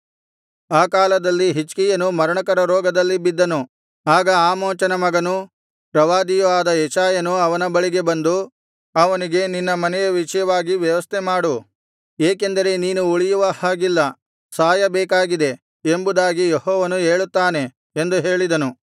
ಆ ಕಾಲದಲ್ಲಿ ಹಿಜ್ಕೀಯನು ಮರಣಕರ ರೋಗದಲ್ಲಿ ಬಿದ್ದನು ಆಗ ಆಮೋಚನ ಮಗನೂ ಪ್ರವಾದಿಯೂ ಆದ ಯೆಶಾಯನು ಅವನ ಬಳಿಗೆ ಬಂದು ಅವನಿಗೆ ನಿನ್ನ ಮನೆಯ ವಿಷಯವಾಗಿ ವ್ಯವಸ್ಥೆ ಮಾಡು ಏಕೆಂದರೆ ನೀನು ಉಳಿಯುವ ಹಾಗಿಲ್ಲ ಸಾಯಬೇಕಾಗಿದೆ ಎಂಬುದಾಗಿ ಯೆಹೋವನು ಹೇಳುತ್ತಾನೆ ಎಂದು ಹೇಳಿದನು